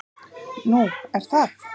"""Nú, er það?"""